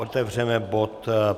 Otevřeme bod